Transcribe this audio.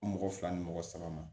Mɔgɔ fila ni mɔgɔ saba ma